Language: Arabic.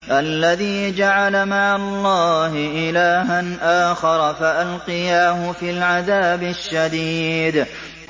الَّذِي جَعَلَ مَعَ اللَّهِ إِلَٰهًا آخَرَ فَأَلْقِيَاهُ فِي الْعَذَابِ الشَّدِيدِ